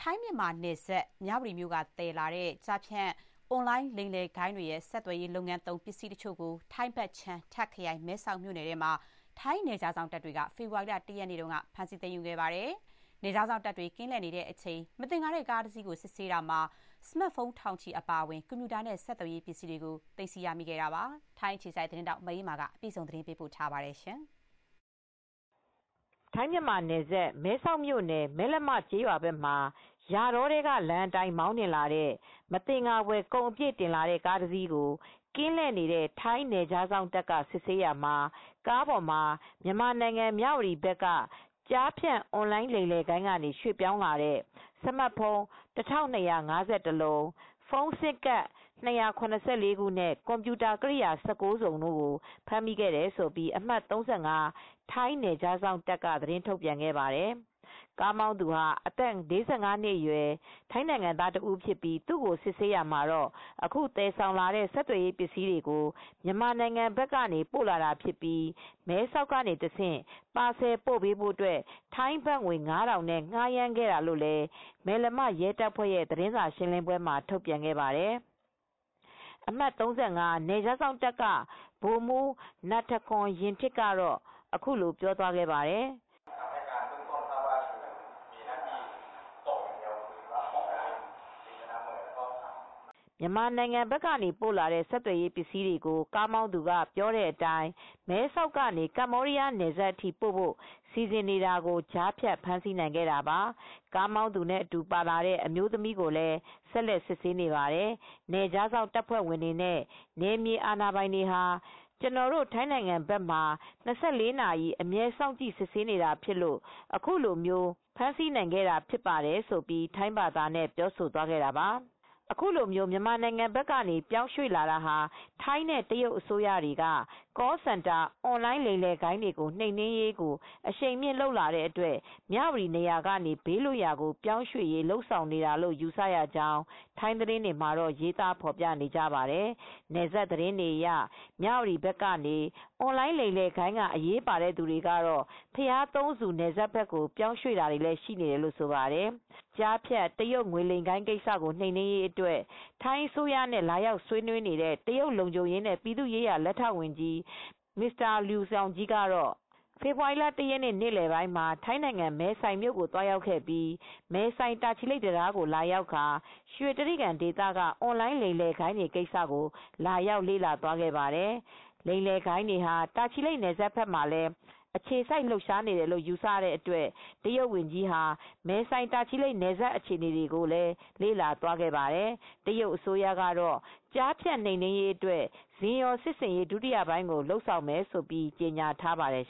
ထိုင်း−မြန်မာနယ်စပ် မြဝတီမြို့က သယ်လာတဲ့ ကျားဖြန့် အွန်လိုင်းလိမ်လည်ဂိုဏ်းတွေရဲ့ ဆက်သွယ်ရေး လုပ်ငန်းသုံး ပစ္စည်းတချို့ကို ထိုင်းဘက်ခြမ်း တာ့ခရိုင် မဲဆောက် မြို့နယ်ထဲမှာ ထိုင်းနယ်ခြားစောင့်တပ်တွေက ဖေဖော်ဝါရီလ ၁ ရက်နေ့က ဖမ်းဆီး သိမ်းယူခဲ့ပါတယ်။ နယ်ခြားစောင့်တပ်တွေ ကင်းလှည့်နေတဲ့အချိန် မသင်္ကာတဲ့ ကားတစီးကို စစ်ဆေးတာမှာ ဆမတ်ဖုန်း ထောင်ချီ အပါအဝင် ကွန်ပျူတာနဲ့ ဆက်သွယ်ရေး ပစ္စည်းတွေ သိမ်းဆည်းရမိခဲ့တာပါ။ ဒီအကြောင်း ထိုင်းအခြေစိုက် သတင်းထောက် မအေးအေးမာက သတင်းပေးပို့ထားပါတယ်။ ထိုင်းမြန်မာနယ်စပ် မဲဆောက်မြို့နယ် မယ်လမ ကျေးရွာဘက်မှာ ယာတောထဲက လမ်းအတိုင်း မောင်းနှင်လာတဲ့ မသင်္ကာဖွယ် ကုန်အပြည့်တင်လာတဲ့ ကားတစီးကို ကင်းလှည့်နေတဲ့ ထိုင်းနယ်ခြားစောင့်တပ်က စစ်ဆေးရာမှာ ကားပေါ်မှာ မြန်မာနိုင်ငံ မြ၀တီဘက်က ကျားဖြန့်အွန်လိုင်းလိမ်လည်ဂိုဏ်းကနေ ရွှေ့ပြောင်းလာတဲ့ စမတ်ဖုန်း ၁၂၅၁ လုံး၊ ဖုန်းဆင်းကဒ် ၂၇၄ ခုနဲ့ ကွန်ပျူတာ ကိရိယာ ၁၉ စုံတို့ကို ဖမ်းမိခဲ့တယ်လို့ အမှတ် ၃၅ ထိုင်းနယ်ခြားစောင့်တပ်ကသတင်း ထုတ်ပြန်ခဲ့ပါတယ်။ ကားမောင်းသူ အသက် ၄၅ နှစ် ထိုင်းနိုင်ငံသားကို စစ်ဆေးရာမှာ အခု သယ်ဆောင်လာတဲ့ ဆက်သွယ်ရေးပစည်းတွေကို မြန်မာနိုင်ငံဘက်ကနေ ပို့လာတာဖြစ်ပြီး မဲဆောက်ကတဆင့် ပါဆယ်ပို့ပေးဖို့ ထိုင်းဘတ်ငွေ ၅,၀၀၀ နဲ့ ငှားရမ်းခဲ့တာလို့လည်း မယ်လမ ရဲတပ်ဖွဲ့ရဲ့ သတင်းစာရှင်လင်းပွဲမှာ ထုတ်ပြန်ခဲ့ပါတယ်။ အမှတ် ၃၅ နယ်ခြားစောင့်တပ်က ဗိုလ်မှူး နတ်ထကွန် ယင်ထစ် (Col Natthakorn Rueantip )ပြောသွားတာကတော့ _ " မြန်မာဘက်ကနေ ပို့လာတဲ့ ဆက်သွယ်ရေးပစ္စည်းတွေကို ကားမောင်းသူက ပြောတဲ့အတိုင်း မဲဆောက်ကနေ ကမ္ဘောဒီးယာနယ်စပ်အထိ ပိုဖို့ စီစဥ်နေတာကို ကြားဖြတ် ဖမ်းဆီးနိုင်ခဲ့တာပါ ၊..ကားမောင်သူနဲ့အတူ ပါလာတဲ့ အမျိုးသမီးကိုလည်း ဆက်လက် စစ်ဆေးနေပါတယ်..နယ်ခြားစောင့် တပ်ဖွဲ့ဝင်တွေနဲ့ နယ်မြေအာဏာပိုင်တွေဟာ ကျနော်တို့ ထိုင်းနိုင်ငံဘက်မှာ ၂၄ နာရီ အမြဲ စောင့်ကြည့် စစ်ဆေးနေတာဖြစ်လို့ အခုလို ဖမ်းဆီနိုင်ခဲ့တာ ဖြစ်ပါတယ်" လို့ ထိုင်းဘာသာနဲ့ ပြောသွားခဲ့တာပါ။ အခုလို မြန်မာဘက်က ပြောင်းရွှေ့လာတာဟာ ထိုင်းနဲ့တရုတ် အစိုးရတွေက Call Center အွန်လိုင်းငွေလိမ်ဂိုဏ်းတွေ နှိမ်နင်းရေးကို အရှိန်မြှင့် လုပ်လာတဲ့အတွက် မြ၀တီနေရာကနေ ဘေးလွတ်ရာကို ပြောင်းရွှေ့ဖို့ လုပ်ဆောင်နေတာလို့ ယူဆရကြောင်း ထိုင်းသတင်းတွေမှာ ရေးသားဖော်ပြကြပါတယ်။ နယ်စပ်သတင်းတွေအရ မြ၀တီဘက်ကနေ အွန်လိုင်းလိမ်လည်ဂိုဏ်းကအရေးပါတဲ့ သူတွေကတော့ ဘုရားသုံးဆူနယ်စပ်ကို ပြောင်းရွှေ့တာတွေလည်း ရှိနေပါတယ်။ ကျားဖြန့် တရုတ်ငွေလိမ်ဂိုဏ်းကိစ္စကို နှိမ်နင်းရေးအတွက် ထိုင်းအစိုးရနဲ့ လာရောက်ဆွေးနွေးနေတဲ့ တရုတ်လုံခြုံရေးနဲ့ပြည်သူ့ရေးရာ လက်ထောက်ဝန်ကြီး Mr.Liu Zhongyi ဟာ ဖေဖော်ဝါရီ ၁ ရက်နေ့ နေ့လည်ပိုင်းမှာ ထိုင်းနိုင်ငံ မယ်ဆိုင်မြို့ကိုသွားရောက်ပြီး မဲဆိုင်−တာချီလိတ် တံတားကိုသွားရောက်ကာ ရွှေတြိဂံဒေသက အွန်လိုင်းလိမ်လည်ဂိုဏ်းတွေကိစ္စ လာရောက် လေ့လာသွားခဲ့ပါတယ်။ ငွေလိမ်ဂိုဏ်းတွေဟာ တာချီလိတ်နယ်စပ်ဘက်မှာလည်း အခြေစိုက် လှုပ်ရှားနေတယ်လို့ ယူဆရတဲ့အတွက် တရုတ်ဝန်ကြီးဟာ မဲဆိုင်တာချီလိတ် နယ်စပ်အခြေအနေတွေကို လေ့လာသွားခဲ့ပါတယ်။ တရုတ်အစိုးရကတော့ ကျားဖြန့်နှိမ်နင်းရေးအတွက် စင်ရော်စစ်ဆင်ရေး ဒုတိယပိုင်းကို လုပ်ဆောင်မယ်လို့ ကြေငြာထားပါတယ်